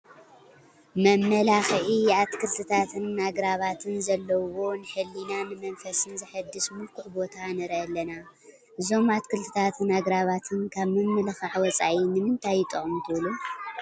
መመላክዒ ኣትክልታትን ኣግራባትን ዘለዉዎ ንሕሊናን ንመንፈስን ዘሕድስ ምልኩዕ ቦታ ንርኢ ኣለና፡፡ እዞም ኣትኽልታትን ኣግራባትን ካብ ምምልኻዕ ወፃኢ ንምንታይ ይጠቕሙ ትብሉ?